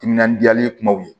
Timinandiyalen kumaw ye